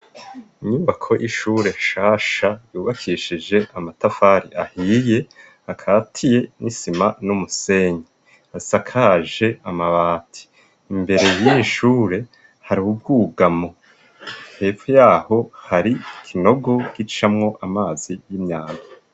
Inyubako y'ishure nshasha yubakishije amatafari ahiye akatiye n'isima n'umusenyi, asakaje amabati. Imbere y'ishure hari ubwugamo, hepfo yaho hari ikinogo gicamwo amazi y'imyanda.